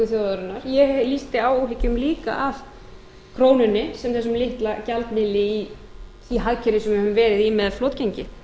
þjóðarinnar ég lýsti áhyggjum líka af krónunni sem hinum litla gjaldmiðli í hagkerfi sem við höfum verið í með flotgengi